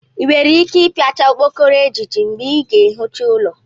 i nwere ike ipiachá okpokoro ejiji mgbe i ga-ehicha ụlọ?